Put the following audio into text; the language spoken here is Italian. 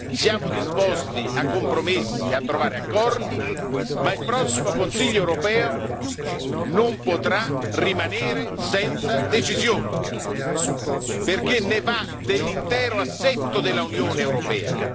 Siamo disposti a compromessi e a trovare accordi, ma il prossimo Consiglio europeo non potrà rimanere senza decisioni, perché ne va dell'intero assetto dell'Unione europea.